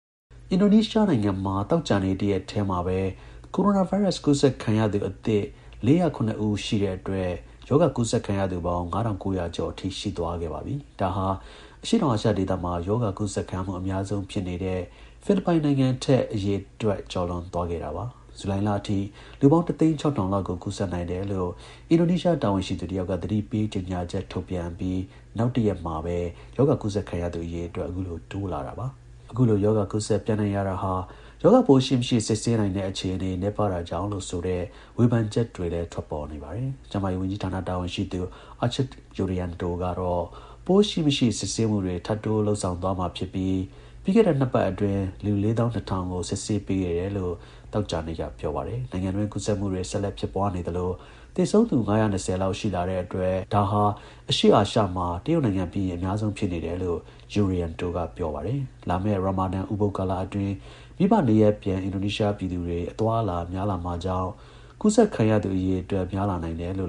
အင်ဒိုနီးရှားနိုင်ငံမှာ သောကြာနေ့တရက်ထဲမှာပဲ ကိုရိုနာ ဗိုင်းရပ်စ် ကူးစက်ခံရသူအသစ်၄၀၇ ဦးရှိတဲ့ အတွက် ရောဂါကူးစက် ခံရသူ ပေါင်း ၅၉၀၀ ကျော်အထိ ရှိသွားခဲ့ပါပြီ။ ဒါဟာ အရှေ့တောင်အာရှ ဒေသမှာ ရောဂါကူးစက်ခံရမှု အများဆုံး ဖြစ်နေတဲ့ ဖိလစ် ပိုင်နိုင်ငံထက် အရေအတွက် ကျော်လွန်သွားခဲ့တာပါ။ ဇူလိုင်လအထိ လူပေါင်း ၁ သိန်း ၆ထောင် လောက်ကို ကူးစက်နိုင်တယ် လို့ အင်ဒိုနီးရှား တာဝန်ရှိသူတစ်ယောက်က သတိပေးကြေညာချက်ထုတ်ပြန်ပြီး နောက်တရက်မှာပဲ ရောဂါ ကူးစက်ခံရသူ အရေအတွက် အခုလို ထပ်တိုးလာတာပါ။ အခုလို ရောဂါ ကူးစက်ပျံ့နှံ့ရတာဟာ ရောဂါပိုးရှိ မရှိစစ်ဆေးနိုင်တဲ့ အခြေအနေ နည်းပါးတာကြောင့်လို့ ဆိုတဲ့ ဝေဖန်ချက်တွေလည်း ထွက်ပေါ်နေပါတယ်။ ကျန်းမာရေးဝန်ကြီးဌာန တာဝန်ရှိသူ Achmad Yurianto ကတော့ ပိုးရှိ မရှိ စစ်ဆေးမှုတွေ ထပ်တိုးလုပ်ဆောင်သွားမှာ ဖြစ်ပြီး ပြီးခဲ့တဲ့ ၂ ပတ်တွင်း လူ ၄၂, ၀၀၀ ကို စစ်ဆေး ပေးခဲ့တယ်လို့ သောကြာနေ့က ပြောပါတယ်။ နိုင်ငံတွင်း ကူးစက်မှုတွေ ဆက်လက် ဖြစ်ပွားနေသလို သေဆုံးသူ ၅၂၀ လောက် ရှိလာတဲ့အတွက် ဒါဟာ အရှေ့ အာရှမှာ တရုတ်နိုင်ငံပြီးရင် အများဆုံးဖြစ်နေတယ် လို့ Yurianto က ပြောပါတယ်။ လာမယ့် Ramadan ဥပုသ်ကာလ အပြီး မိဘနေရပ်ပြန် အင်ဒိုနီးရှားပြည်သူတွေ အသွားအလာ များလာမှာ ကြောင့် ရောဂါကူးစက် ခံရသူ အရေအတွက် ပိုများလာနိုင်တယ်လိ